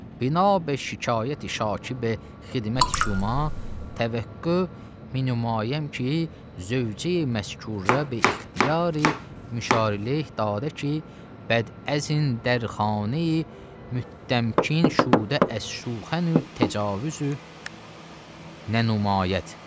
Bina be şikayəti şakibə xidməti şuma təvəqqa minnəmayəm ki, zövcəyi məskurə be ixtiyari müşari leyh dadə ki, bədəzin dərxaneyi müttəmkin şudə əş-şuxə təcavüzü nənumayət.